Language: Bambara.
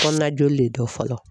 Kɔnɔna joli de dɔn fɔlɔ